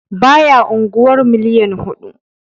Baya unguwar miliyan huɗu.